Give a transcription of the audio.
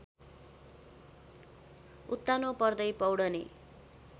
उत्तानो पर्दै पौड्ने